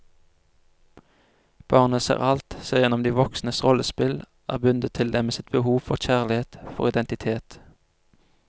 Barnet ser alt, ser igjennom de voksnes rollespill, er bundet til dem med sitt behov for kjærlighet, for identitet.